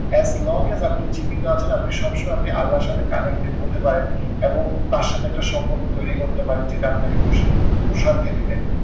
as long as আপনি জীবিত আছেন, আপনি সব সময় আপনি আল্লার সাথে connected হতে পারেন এবং তার সাথে একটা সম্পর্ক তৈরী করতে পারেন যেটা আপনাকে প্রশান্তি প্রশান্তি দিবে।